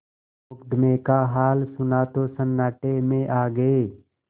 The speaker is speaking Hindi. मुकदमे का हाल सुना तो सन्नाटे में आ गये